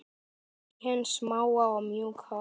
Kostir hins smáa og mjúka